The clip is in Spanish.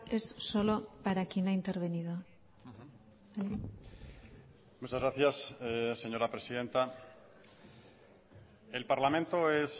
es solo para quien ha intervenido muchas gracias señora presidenta el parlamento es